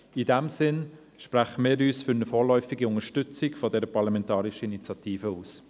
In diesem Sinn sprechen wir uns für eine vorläufige Unterstützung dieser parlamentarischen Initiative aus.